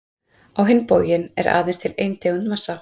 Á hinn bóginn er aðeins til ein tegund massa.